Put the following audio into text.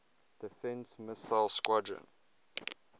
defense missile squadron